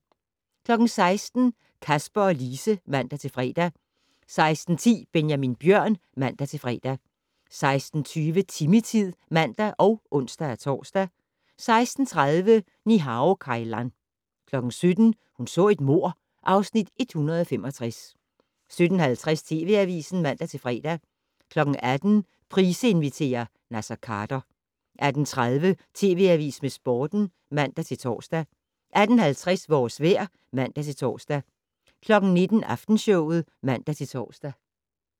16:00: Kasper og Lise (man-fre) 16:10: Benjamin Bjørn (man-fre) 16:20: Timmy-tid (man og ons-tor) 16:30: Ni-Hao Kai Lan 17:00: Hun så et mord (Afs. 165) 17:50: TV Avisen (man-fre) 18:00: Price inviterer - Naser Khader 18:30: TV Avisen med Sporten (man-tor) 18:50: Vores vejr (man-tor) 19:00: Aftenshowet (man-tor)